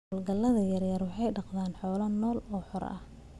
Hawlgallada yaryar waxay dhaqdaan xoolo nool oo xor ah.